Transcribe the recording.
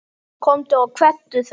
Komdu og kveddu þá.